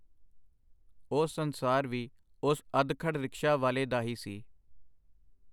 ਉਹ ਸੰਸਾਰ ਵੀ ਉਸ ਅਧਖੜ ਰਿਕਸ਼ਾ ਵਾਲੇ ਦਾ ਹੀ ਸੀ.